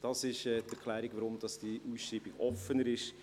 Das ist die Erklärung dafür, weshalb diese Ausschreibung offener ist.